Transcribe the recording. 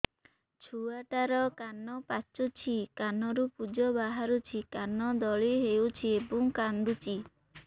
ଛୁଆ ଟା ର କାନ ପାଚୁଛି କାନରୁ ପୂଜ ବାହାରୁଛି କାନ ଦଳି ହେଉଛି ଏବଂ କାନ୍ଦୁଚି